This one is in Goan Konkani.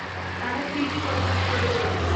ताणें पी.जी. वर्गांत प्रवेश घेतला.